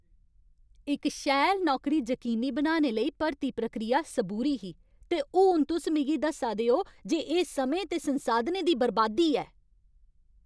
इक शैल नौकरी जकीनी बनाने लेई भर्ती प्रक्रिया सबूरी ही, ते हून तुस मिगी दस्सा दे ओ जे एह् समें ते संसाधनें दी बरबादी ऐ।